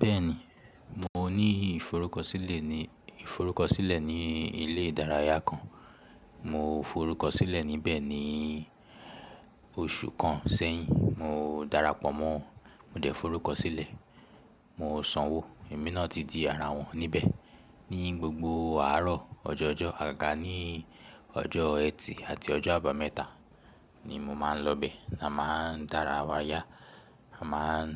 Bẹ́ẹ̀ni, mo ní ìforúkọsílẹ̀ ní, ìforúkọsílẹ̀ ní ilé ìdárayá kan. Mo forúkọsílẹ̀ níbẹ̀ ní oṣù kan sẹ́yìn. Mo darapọ̀ mọ́, mo dẹ̀ forúkọsílẹ̀. Mo sanwó, èmi náà ti di ara wọn níbẹ̀. Ní gbogbo àárọ̀ ọjọ̀jọ́, àgàní ọjọ́ Ẹtì àti ọjọ́ Àbàmẹ́ta ni mo máa ń lọ bẹ̀. A máa ń darawa yá, a máa ń,